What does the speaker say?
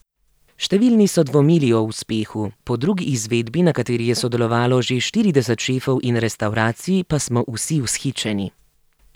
Številni so dvomili o uspehu, po drugi izvedbi, na kateri je sodelovalo že štirideset šefov in restavracij, pa smo vsi vzhičeni.